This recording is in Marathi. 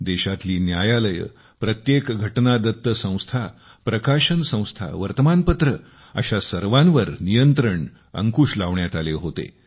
देशातली न्यायालये प्रत्येक घटनादत्त संस्था प्रकाशन संस्था वर्तमानपत्रे अशा सर्वांवर नियंत्रण अंकूश लावण्यात आले होते